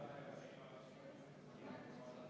Härra Põlluaas, ma nüüd pean täpsustama.